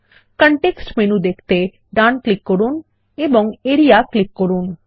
context menu দেখতে ডান click করুন এবং আরিয়া ক্লিক করুন